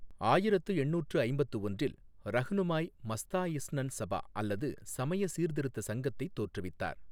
ஆயிரத்து எண்ணூற்று ஐம்பத்து ஒன்றில் ரஃனுமாய் மஸ்தாயிஸ்னன் சபா அல்லது சமய சீர்த்திருத்த சங்கத்தை தோற்றுவித்தனர்.